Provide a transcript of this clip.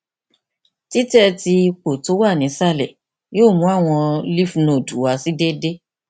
titẹ ti ipo ti o wa ni isalẹ yoo mu awọn lymph node wa si deede